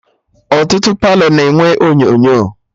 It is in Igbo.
Ọtụtụ Palọ na-enwe onyonyo